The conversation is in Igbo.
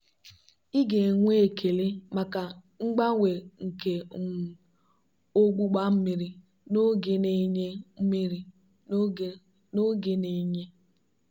ị ga-enwe ekele maka mgbanwe nke um ogbugba mmiri n'oge na-enye. mmiri n'oge na-enye.